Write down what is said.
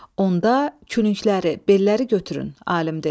Onda kürəkləri, belləri götürün, alim dedi.